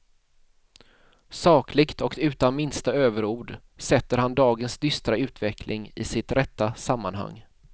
Sakligt och utan minsta överord sätter han dagens dystra utveckling i sitt rätta sammanhang.